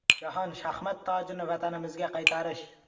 Jahon shaxmat tojini vatanimizga qaytarish.